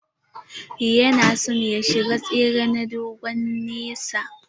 Yana son ya shiga tsere na dogon nesa.